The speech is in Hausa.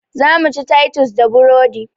Zamu ci taitus da burodi